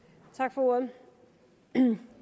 for ordet